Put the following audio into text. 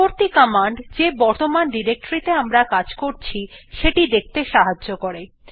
পরবর্তী কমান্ড যে বর্তমান ডিরেক্টরী তে আমরা কাজ করছি সেটি দেখতে সাহায্য করে